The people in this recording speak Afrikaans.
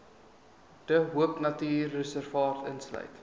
de hoopnatuurreservaat insluit